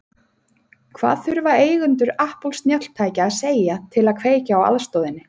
Hvað þurfa eigendur Apple snjalltækja að segja til að kveikja á aðstoðinni?